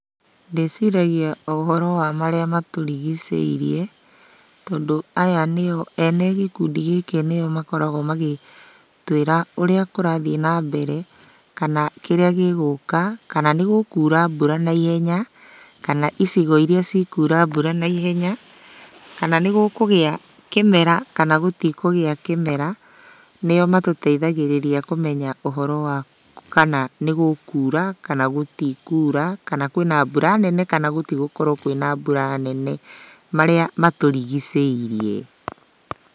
Ndĩciragia o ũhoro wa marĩa matũrigicĩirie, tondũ aya nĩo, ene gĩkundi gĩkĩ nĩo makoragwo magĩtwĩra ũrĩa kũrathiĩ na mbere, kana kĩrĩa gĩgũka, kana nĩ gũkura mbura naihenya, kana icigo iria cikura mbura naihenya, kana nĩgũkũgĩa kĩmera kana gũtikũgĩa kĩmera. Nĩo matũteithagĩrĩria kũmenya ũhoro wa kana nĩgũkura kana gũtikura, kana kwĩna mbura nene kana gũtigũkorwo kwĩna mbura nene. Marĩa matũrigicĩirie.